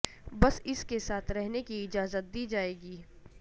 بس اس کے ساتھ رہنے کی اجازت دی جائے گی